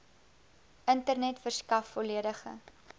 internet verskaf volledige